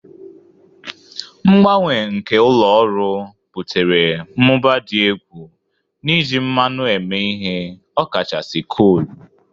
Mgbanwe nke ụlọ ọrụ butere mmụba dị egwu n'iji mmanụ eme ihe, ọkachasị kolu.